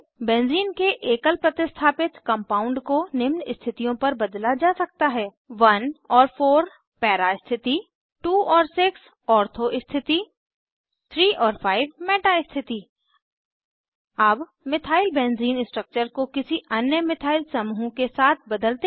benzene के एकल प्रतिस्थापित कंपाउंड को निम्न स्थितियों पर बदला जा सकता है 1 और 4 पैरा स्थिति 2 और 6 ऑर्थो स्थिति 3 और 5 मेटा स्थिति अब मिथाइलबेंजीन मिथाइलबेंज़ीन स्ट्रक्चर को किसी अन्य मिथाइल समूह के साथ बदलते हैं